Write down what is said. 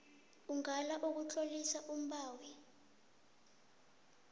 ungala ukutlolisa umbawi